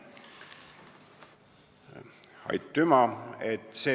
Aitüma!